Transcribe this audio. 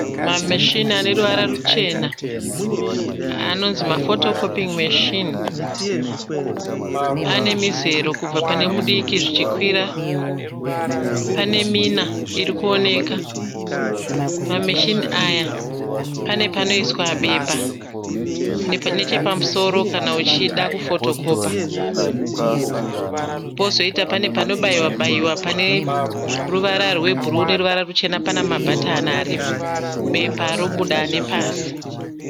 Mameshini ane ruvara ruchena anonzi mafotokopingi meshini. Ane mizero kubva pane mudiki zvichikwira. Pane mina iri kuonekwa. Mameshini aya pane panoiswa bepa nechepamusoro kana uchida kufotokopa. Pozoita pane panobayiwa bayiwa pane ruvara rwebhuruu neruvara ruchena. Pana mabhatani aripo. Bepa robuda nepasi.